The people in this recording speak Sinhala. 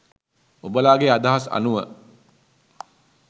ඔබලාගෙ අදහස් අනුව